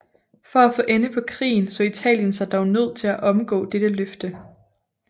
For at få ende på krigen så Italien sig dog nødt til at omgå dette løfte